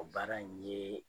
O baara in yee